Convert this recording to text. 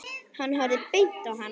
Hann horfði beint á hana.